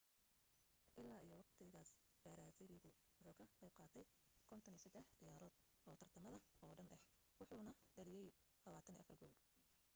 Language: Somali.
ilaa iyo waqtigaas baraasiiligu wuxu ka qayb qaatay 53 ciyaarood oo tartamada oo dhan ah wuxuna dhaliyay 24 gool